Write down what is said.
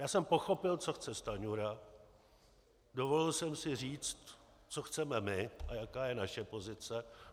Já jsem pochopil, co chce Stanjura, dovolil jsem si říct, co chceme my a jaká je naše pozice.